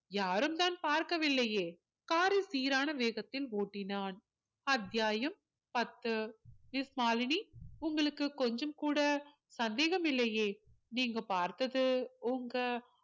யாரும்தான் பார்க்கவில்லையே car ஐ சீரான வேகத்தில் ஓட்டினான் அத்தியாயம் பத்து miss மாலினி உங்களுக்கு கொஞ்சம் கூட சந்தேகம் இல்லையே நீங்க பார்த்தது உங்க